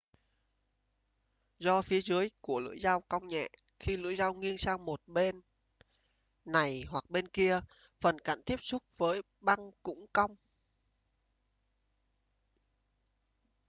do phía dưới của lưỡi dao cong nhẹ khi lưỡi dao nghiêng sang một bên này hoặc bên kia phần cạnh tiếp xúc với băng cũng cong